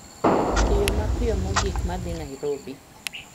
Yo mapiyo mogik ma dhi Nairobi